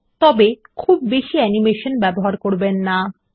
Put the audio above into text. তবে খুব বেশি অ্যানিমেশন ব্যবহার করবেন না160